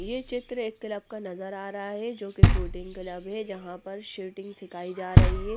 ये चित्र एक क्लब का नजर आ रहा हैं जो कि शूटिंग क्लब हैं जहाँ पर शूटिंग सिखाई जा रही हैं ।